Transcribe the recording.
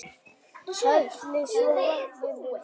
Hellið svo vatninu frá.